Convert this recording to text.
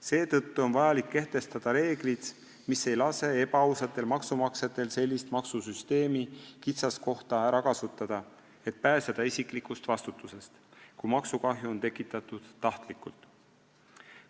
Seetõttu on vaja kehtestada reeglid, mis ei lase ebaausatel maksumaksjatel maksusüsteemi kitsaskohta ära kasutada ega pääseda isiklikust vastutusest, kui maksukahju on tekitatud tahtlikult.